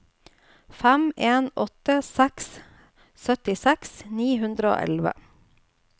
fem en åtte seks syttiseks ni hundre og elleve